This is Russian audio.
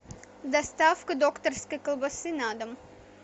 доставка докторской колбасы на дом